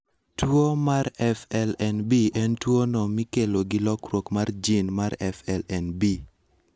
Tuwo mar FLNB en tuwono mikelo gi lokruok mar gene mar FLNB.